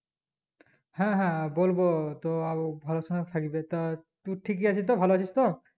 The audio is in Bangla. হ্যাঁ হ্যাঁ বলবো তো আউ ভালোসময় থাকবে তার টু ঠিক আছিস তো ভালো আছিস তো?